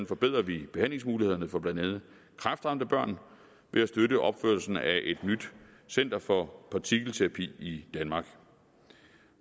forbedrer vi behandlingsmulighederne for blandt andet kræftramte børn ved at støtte opførelsen af et nyt center for partikelterapi i danmark